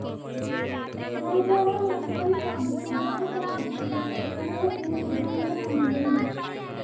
രാജാറാം മോഹൻറോയ് സ്ഥാപിച്ച ബ്രഹ്മസമാജത്തിൻ്റെ കേരളത്തിലെ പ്രചാരകനായിരുന്നു.